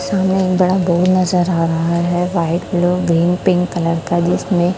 सामने एक बड़ा बोर्ड नजर आ रहा है white blue green pink colour का जिसमें--